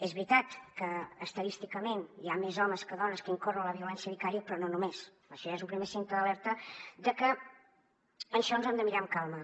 és veritat que estadísticament hi ha més homes que dones que incorren en la violència vicària però no només això ja és un primer signe d’alerta de que això ens ho hem de mirar amb calma